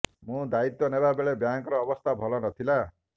ମୁଁ ଦାୟିତ୍ୱ ନେବା ବେଳେ ବ୍ୟାଙ୍କର ଅବସ୍ଥା ଭଲ ନ ଥିଲା